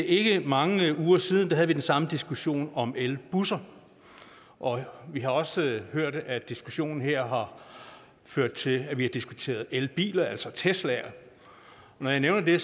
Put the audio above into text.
ikke ret mange uger siden havde vi den samme diskussion om elbusser og vi har også hørt at diskussionen her har ført til at vi har diskuteret elbiler altså teslaer og når jeg nævner det